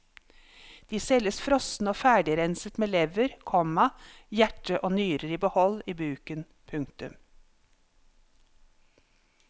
De selges frosne og ferdigrenset med lever, komma hjerte og nyrer i behold i buken. punktum